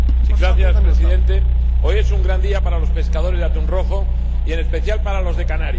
Señor Presidente, hoy es un gran día para los pescadores de atún rojo y, en especial, para los de Canarias.